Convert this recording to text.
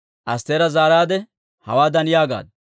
Astteera zaaraadde hawaadan yaagaaddu;